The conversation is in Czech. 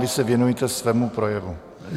Vy se věnujte svému projevu.